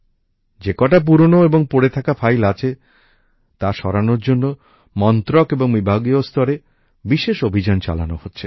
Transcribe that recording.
যে কটা পুরানো এবং পড়ে থাকা ফাইল আছে তা সরানোর জন্য মন্ত্রক এবং বিভাগীয় স্তরে বিশেষ অভিযান চালানো হচ্ছে